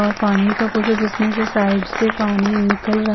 वो पानी का पोधो जिसमें से साइड से पानी निकल रहा --